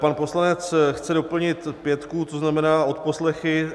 Pan poslanec chce doplnit pětku, to znamená odposlechy.